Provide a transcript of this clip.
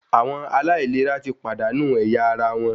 Àwọn aláìlera ti pàdánù ẹ̀yà ara wọn